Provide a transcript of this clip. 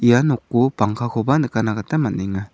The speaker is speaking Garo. ia noko pangkakoba nikatna gita man·enga.